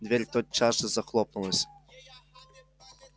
дверь тотчас же захлопнулась